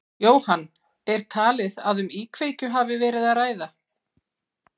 Jóhann, er talið að um íkveikju hafi verið að ræða?